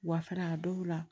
Wulafɛla a dɔw la